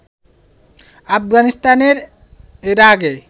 আফগানিস্তানের এর আগে